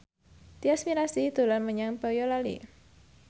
Tyas Mirasih dolan menyang Boyolali